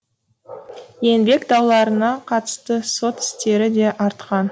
еңбек дауларына қатысты сот істері де артқан